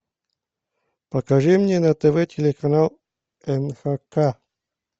покажи мне на тв телеканал нхк